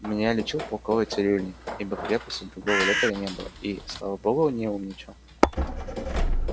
меня лечил полковой цирюльник ибо в крепости другого лекаря не было и слава богу не умничал